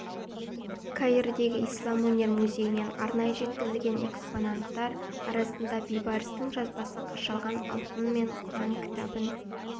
каирдегі ислам өнер музейінен арнайы жеткізілген экспонаттар арасында бейбарыстың жазбасы қашалған алтын мен құран кітабын